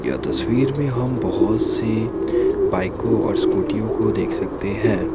यह तस्वीर में हम बहुत से बाईकों और स्कूटीयों को देख सकते हैं।